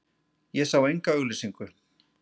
Ég sá enga auglýsingu.